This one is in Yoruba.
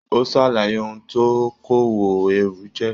O sàlàyé òun tó òkòwò ẹrú jẹ.